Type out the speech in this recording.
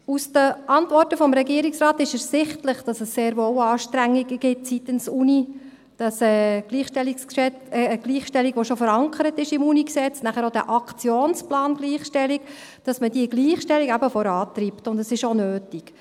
Aus den Antworten des Regierungsrates ist ersichtlich, dass es sehr wohl Anstrengungen gibt seitens der Uni, wonach man eben die Gleichstellung, die schon im UniG sowie im Aktionsplan Gleichstellung verankert ist, vorantreibt, und das ist auch nötig.